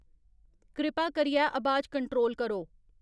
कृपा करियै अबाज कंट्रोल करो